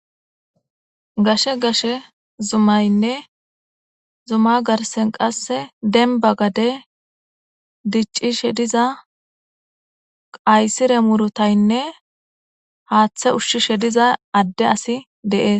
gashe gashe zumaynne zuma garsen qasse denba gade diccishe diza qaysire murutaynne haaththe ushshishe diza adde asi deees